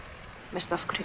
veistu af hverju